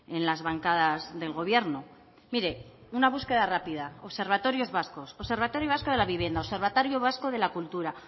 en las bancadas del gobierno mire una búsqueda rápida observatorios vascos observatorio vasco de la vivienda observatorio vasco de la cultura